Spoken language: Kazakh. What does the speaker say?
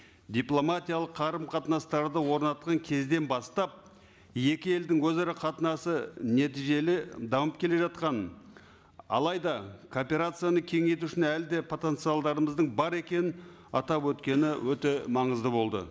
дипломатиялық қарым қатынастарды орнатқан кезден бастап екі елдің өзара қатынасы нәтижелі дамып келе жатқанын алайда кооперацияны кеңейту үшін әлі де потенциалдарымыздың бар екенін атап өткені өте маңызды болды